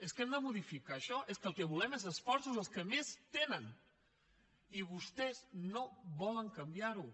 és que hem de modificar això és que el que volem és esforços dels que més en tenen i vostès no volen canviar ho